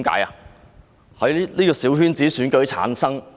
因為他們是小圈子選舉產生。